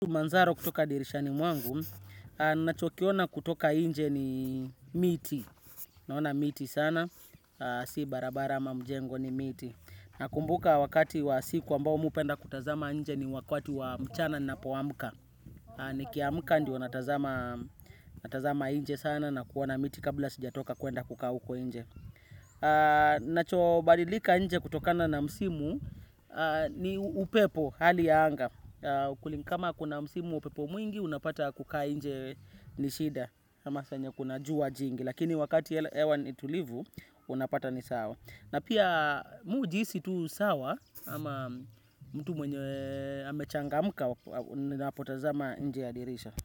Manzaro kutoka dirishani mwangu, ninachokiona kutoka nje ni miti. Naona miti sana, si barabara ama mjengo ni miti. Nakumbuka wakati wa siku ambao mimi hupenda kutazama inje ni wakati wa mchana ninapoamka. Nikiamka ndiyo natazama nje sana na kuona miti kabla sijatoka kuenda kukaa uko nje. Kinachobadilika nje kutokana na msimu ni upepo, hali ya anga. Kama kuna msimu wa upepo mwingi, unapata kukaa nje ni shida. Kama saa yenye kuna jua jingi. Lakini wakati hewa nitulivu unapata nisawa. Na pia mimi hujihisi tu sawa ama mtu mwenye amechangamka ninapotazama nje ya dirisha.